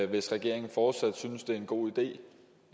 hvis regeringen fortsat synes det er en god idé